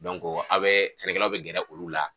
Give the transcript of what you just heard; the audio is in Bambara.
a' bɛ sɛnɛkɛlaw bɛ gɛrɛ olu la.